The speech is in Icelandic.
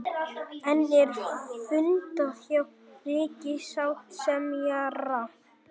Enn er fundað hjá ríkissáttasemjara